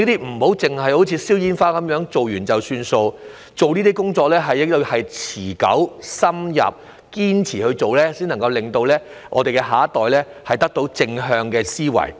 我期望這些工作不會如放煙火般做過便算，這些工作要持久、深入、堅持，才能令我們的下一代建立正向的思維。